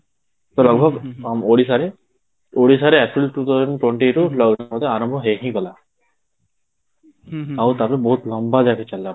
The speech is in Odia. ଆମ ଓଡ଼ିଶାରେ ଓଡ଼ିଶାରେ actually two thousand twentyରୁ lockdown ଆରମ୍ଭ ହେଇ ହିଁ ଗଲା, ଆଉ ତା ଠୁ ବହୁତ ଲମ୍ବା ଯାଇକି ଚାଲିଲା